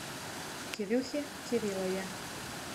кирюхе кириллове